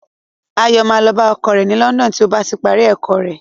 Ayọ̀ máa lọ bá ọkọ rẹ̀ ní London tí ó bá ti parí ẹ̀kọ́ rẹ̀.